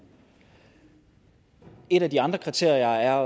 et af de andre kriterier er